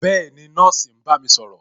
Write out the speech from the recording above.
Bẹẹni, nọ́ọ̀sì ń bá mi sọ̀rọ̀